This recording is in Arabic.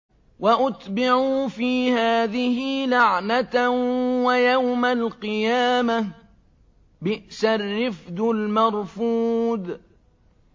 وَأُتْبِعُوا فِي هَٰذِهِ لَعْنَةً وَيَوْمَ الْقِيَامَةِ ۚ بِئْسَ الرِّفْدُ الْمَرْفُودُ